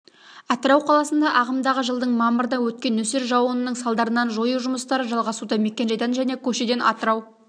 атырау қаласында ағымдағы жылдың мамырда өткен нөсер жауынның салдарын жою жұмыстары жалғасуда мекенжайдан және көшеден атырау